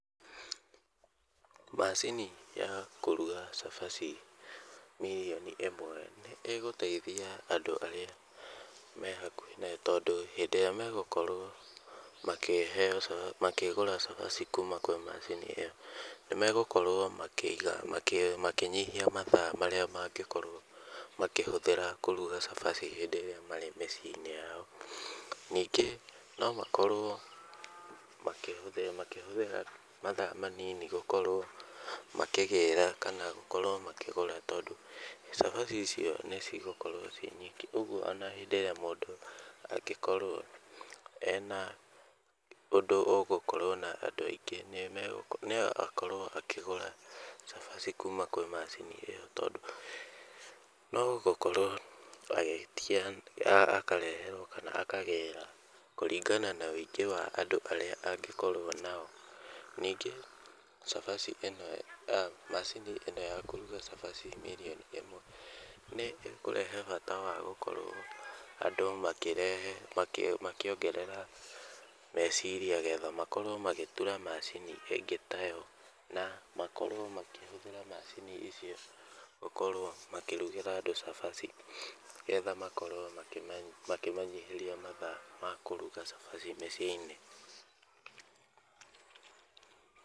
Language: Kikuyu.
Macini ya kũruga cabaci mirioni ĩmwe nĩ ĩgũteithia andũ arĩa me hakuhĩ nayo tondũ hĩndĩ ĩrĩa megũkorwo makĩheo makĩgũra cabaci kuuma kwĩ macini ĩyo, nĩ megũkorwo makĩiga makĩnyihia mathaa marĩa mangĩkorwo makĩhũthĩra kũruga cabaci hĩndĩ ĩrĩa me mĩciĩ-inĩ yao. Nĩngĩ no makorwo makĩhũthĩra mathaa manini gũkorwo makĩgĩra kana gũkorwo makĩgũra tondũ cabaci icio nĩ cigũkorwo ciĩ nyingĩ. Ũguo ona hĩndĩ ĩrĩa mũndũ angĩkorwo ena ũndũ ũgũkorwo na andũ aingĩ no akorwo akĩgũra cabaci kuuma kwĩ macini ĩyo. Tondũ no gũkorwo agĩtia akareherwo kana akagĩra kũringana na ũingĩ wa andũ arĩa angĩkorwo nao. Ningĩ macini ĩno ya kũruga cabaci mirioni ĩmwe nĩ ĩkũrehe bata wa gũkorwo andũ makĩrehe makĩongerera meciria getha makorwo magĩtura macini ingĩ ta yo. Na makorwo makĩhũthĩra macini icio gũkorwo makĩrugĩra andũ cabaci getha makorwo makĩmanyihĩria mathaa makũruga cabaci mĩciĩ-inĩ.